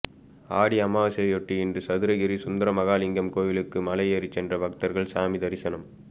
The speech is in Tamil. ஆடி அமாவாசையையொட்டி இன்று சதுரகிரி சுந்தரமகாலிங்கம் கோவிலுக்கு மலை ஏறிச் சென்று பக்தர்கள் சாமி தரிசனம்